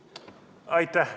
Aitäh!